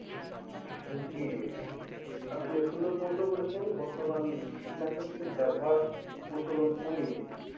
জি আপনি সুন্দর প্রশ্ন করেছেন বর্তমান কীটনাশকের ব্যবহার প্রচলন কমিয়ে,